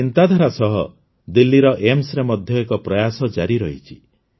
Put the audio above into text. ଏହି ଚିନ୍ତାଧାରା ସହ ଦିଲ୍ଲୀର ଏମ୍ସରେ ମଧ୍ୟ ଏକ ପ୍ରୟାସ ଜାରି ରହିଛି